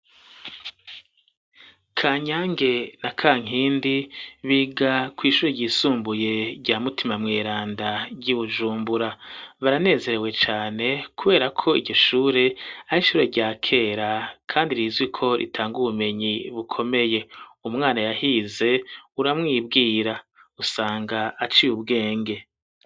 Ka nyange na ka nkindi biga kw'ishuri ryisumbuye rya mutima mweranda ry'i bujumbura baranezerewe cane, kubera ko igishure ari ishure rya kera, kandi rizwi ko ritanga ubumenyi bukomeye umwana yahize uramwibwiye ra usanga aciye ubwenge.